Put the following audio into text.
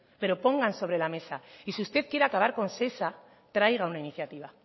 pero pongan sobre la mesa y si usted quiere acabar con shesa traiga una iniciativa